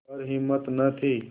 पर हिम्मत न थी